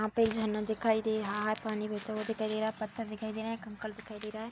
यहाँ पे झरना दिखाई दे रहा है। पानी बहता हुआ दिखाई दे रहा है। पत्थर दिखाई दे रहा है कंकड़ दिखाई दे रहा है।